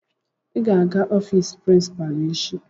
Ị ga-aga ofiisi prinsipalu echi.